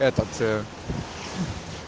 этот ээ